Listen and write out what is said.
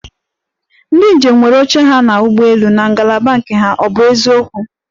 Ndi njem nwere oche ha n'ụgbọelu na ngalaba nke ha, ọ bụ eziokwu?